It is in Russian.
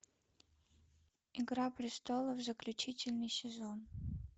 игра престолов заключительный сезон